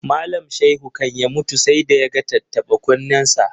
Malam Shaihu kan ya mutu sai da ya ga tattaɓa-kunnensa.